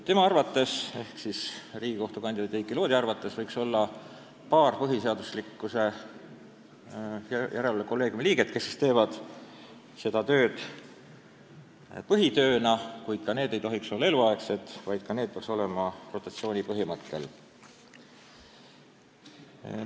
Riigikohtu liikme kandidaadi Heiki Loodi arvates võiks olla paar põhiseaduslikkuse järelevalve kolleegiumi liiget, kes teevad seda tööd põhitööna, kuid ka nemad ei tohiks olla eluaegsed, nendegi puhul peaks kehtima rotatsiooni põhimõte.